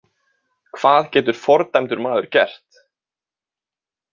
Hvað getur fordæmdur maður gert?